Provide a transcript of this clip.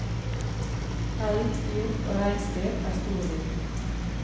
Elg, hjort og reinsdyr er storvilt.